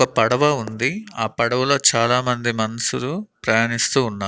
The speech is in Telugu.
ఒక పడవ ఉంది ఆ పడవలో చాలామంది మన్షులు ప్రయాణిస్తూ ఉన్నా--